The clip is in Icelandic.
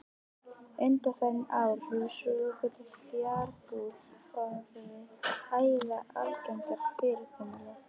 Undanfarin ár hefur svokölluð fjarbúð orðið æ algengara fyrirkomulag.